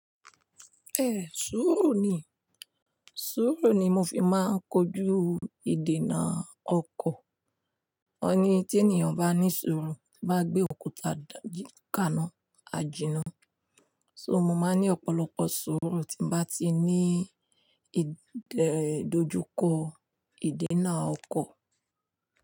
Èé sùúrù ni, sùúrù ni mo fi máa ń kọjú ìdènà ọkọ̀. Wọ́n ní tí ènìyàn bá ní sùúrù, bá gbé òkúta kàána, a jìnnà. So mo máa ní ọ̀pọ̀lọpọ̀ sùúrù tí mo bá ti ní ìdòjukọ ìdènà ọkọ̀.